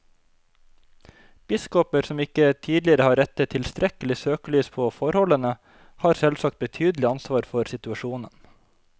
Biskoper som ikke tidligere har rettet tilstrekkelig søkelys på forholdene, har selvsagt betydelig ansvar for situasjonen.